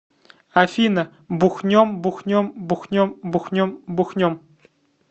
афина бухнем бухнем бухнем бухнем бухнем